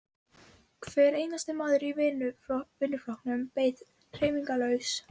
Hver einasti maður í vinnuflokknum beið hreyfingarlaus.